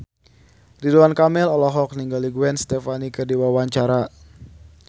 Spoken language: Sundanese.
Ridwan Kamil olohok ningali Gwen Stefani keur diwawancara